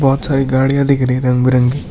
बहुत सारी गाड़ियां दिख रही हैं रंग बिरंगी।